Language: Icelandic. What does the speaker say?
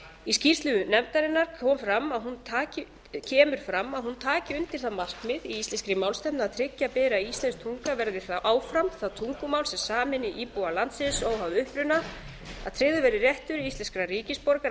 í skýrslu nefndarinnar kemur fram að hún taki undir það markmið í íslenskri málstefnu að tryggja beri að íslensk tunga verði áfram það tungumál sem sameini íbúa landsins óháð uppruna að tryggður verði réttur íslenskra ríkisborgara af